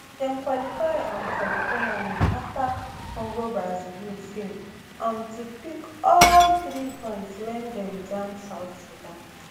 dem qualify um for di tournament afta congobrazzaville fail um to pick all three points wen dem jam south sudan